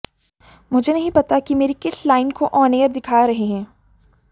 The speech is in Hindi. मुझे नहीं पता कि मेरी किस लाइन को आॅन एयर दिखा रहे हैं